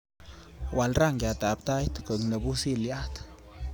wal rangiat ab tait koek ne pusiliat